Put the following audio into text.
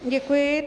Děkuji.